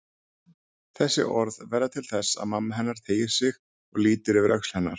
Þessi orð verða til þess að mamma hennar teygir sig og lítur yfir öxl hennar.